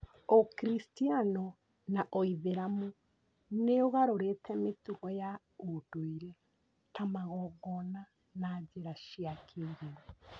Ũkristiano na Ũithĩramu nĩ ũgarũrĩte mĩtugo ya ũndũire ta magongona na njĩra cia kĩrĩu.